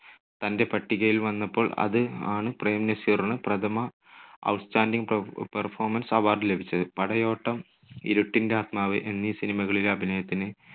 തൻ്റെ പട്ടികയിൽ വന്നപ്പോൾ അത് ആണ് പ്രേം നസീറിന് പ്രഥമ ഔട്ട്സ്റ്റാൻഡിംഗ് പെ~പെർഫോമൻസ് award ലഭിച്ചത്. പടയോട്ടം, ഇരുട്ടിന്റെ ആത്മാവ് എന്നീ cinema കളിലെ അഭിനയത്തിന്